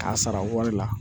K'a sara wari la